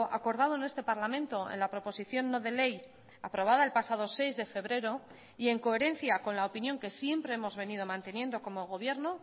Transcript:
acordado en este parlamento en la proposición no de ley aprobada el pasado seis de febrero y en coherencia con la opinión que siempre hemos venido manteniendo como gobierno